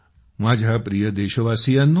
माझ्या प्रिय देशवासियांनो